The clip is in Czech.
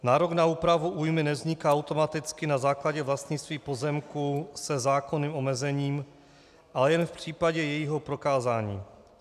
Nárok na úpravu újmy nevzniká automaticky na základě vlastnictví pozemku se zákonným omezením, ale jen v případě jejího prokázání.